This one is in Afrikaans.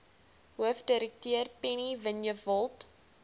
hoofdirekteur penny vinjevold